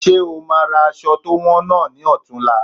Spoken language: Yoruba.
Ṣe o máa ra aṣọ to wọn náà ni ọ̀tunla?